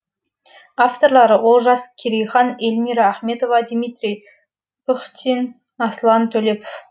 авторлары олжас керейхан эльмира ахметова дмитрий пыхтин аслан төлепов